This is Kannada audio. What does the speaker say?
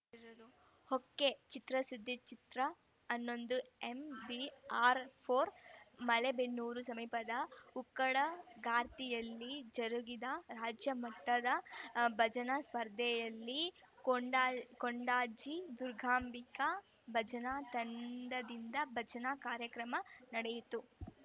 ಹೊ ಕೆಚಿತ್ರಸುದ್ದಿ ಚಿತ್ರ ಹನ್ನೊಂದು ಎಂಬಿಆರ್‌ ಫೋರ್ ಮಲೇಬೆನ್ನೂರು ಸಮೀಪದ ಉಕ್ಕಡ ಗಾತಿ ಯಲ್ಲಿ ಜರುಗಿದ ರಾಜ್ಯ ಮಟ್ಟದ ಭಜನಾ ಸ್ಪರ್ಧೆಯಲ್ಲಿ ಕೊಂಡ ಕೊಂಡಜ್ಜಿ ದುರ್ಗಾಂಬಿಕಾ ಭಜನಾ ತಂಡದಿಂದ ಭಜನಾ ಕಾರ್ಯಕ್ರಮ ನಡೆಯಿತು